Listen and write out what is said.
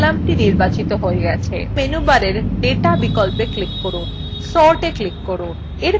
এখন মেনুবারের data বিকল্পে click করুন sortএ click করুন